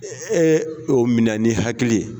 oo minɛ ni hakili ye.